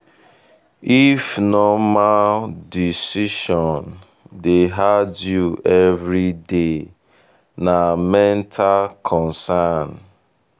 if normal if normal decision dey hard you every day na mental concern.